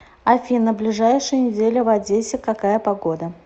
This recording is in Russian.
афина ближайшую неделю в одессе какая погода